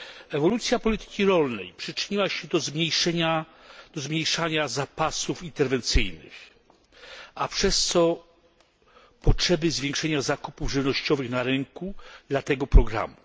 Ewolucja polityki rolnej przyczyniła się do zmniejszania zapasów interwencyjnych, a przez to do potrzeby zwiększenia zakupów żywnościowych na rynku dla tego programu.